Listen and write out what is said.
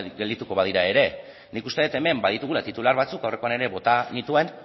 geldituko badira ere nik uste dut hemen baditugula titular batzuk aurrekoan ere bota nituen